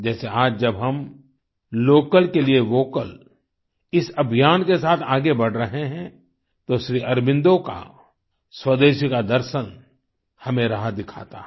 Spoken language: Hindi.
जैसे आज जब हम लोकल के लिए वोकल इस अभियान के साथ आगे बढ़ रहे हैं तो श्री अरबिंदो का स्वदेशी का दर्शन हमें राह दिखाता है